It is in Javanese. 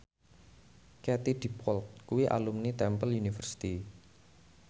Katie Dippold kuwi alumni Temple University